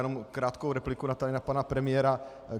Jenom krátkou repliku na pana premiéra .